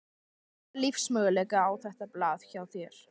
Hvaða lífsmöguleika á þetta blað hjá þér?